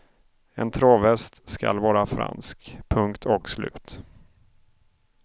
En travhäst skall vara fransk, punkt och slut.